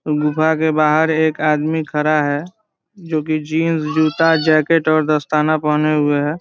गुफा के बाहर एक आदमी खड़ा है । जोकि जीन्स जूता जेकेट और दस्ताना पहने हुए है ।